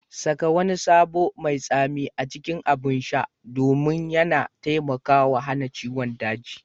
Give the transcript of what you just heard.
Saka wani sabo mai tsami a cikin abin sha domin yana taimakawa hana ciwon daji.